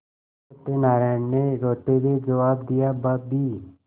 सत्यनाराण ने रोते हुए जवाब दियाभाभी